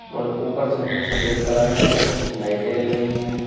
और ऊपर छत में सफेद कलर है और कुछ लाइटें जल रही हैं।